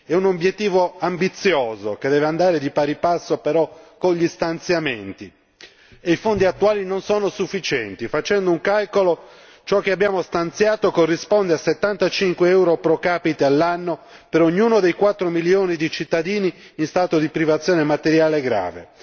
È un obiettivo ambizioso, che deve andare di pari passo però con gli stanziamenti, e i fondi attuali non sono sufficienti facendo un calcolo ciò che abbiamo stanziato corrisponde a 75 euro procapite all'anno per ognuno dei 4 milioni di cittadini in stato di privazione materiale grave